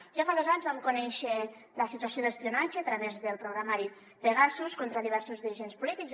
ja fa dos anys vam conèixer la situació d’espionatge a través del programari pegasus contra diversos dirigents polítics